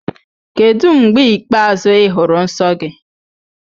Kedu mgbe ikpeazụ ị hụrụ nsọ gị?